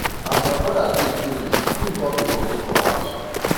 as my broda drink finish him come dey vomit for house